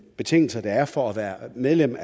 betingelser der er for at være medlem